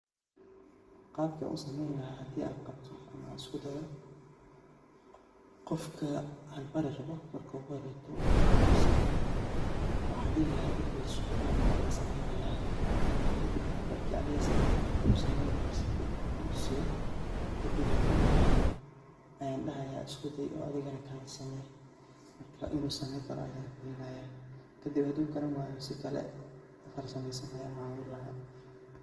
Qaabka ann u samayn lahaa hadd aan qabto ama usku dayo, qofka aan bari rabo marka ugu horayto waxaan tusin lahaa, waxaa dhihi lahaa ifiirso aniga ayaa samaynayaa. Marka, kadib marka aniga sameeyo qaabka loo samayn lahaa sificaan aan utusiyo, kadib haduu uu fahmo, ayaan dhahayaa usku day oo adigana kalay samay.Marka.in uu samayn karo ayaan fiirinaayaa. Kadib haduu garan waayo si kale ka farsamaysan ayaa u caawin lahaa.